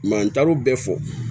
n taar'o bɛɛ fɔ